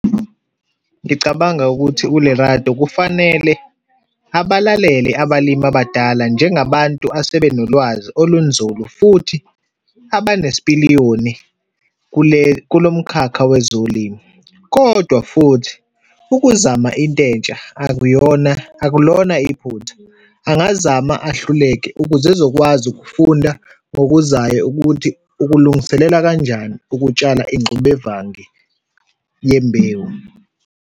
Ngicabanga ukuthi uLerato kufanele abalalele abalimi abadala njengabantu asebenolwazi olunzulu, futhi abanesipiliyoni kule, kulomkhakha wezolimo. Kodwa futhi ukuzama intentsha akuyona, akulona iphutha. Angazama ahluleke ukuze ezokwazi ukufunda ngokuzayo ukuthi ukulungiselela kanjani ukutshala ingxubevange yembewu.